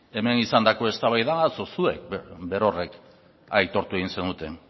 hemen izandako eztabaida atzo zuek berorrek aitortu egin zenuten